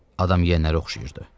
Adam yiyənə oxşayırdı.